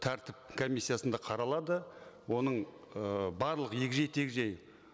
тәртіп комиссиясында қаралады оның ы барлық егжей тегжей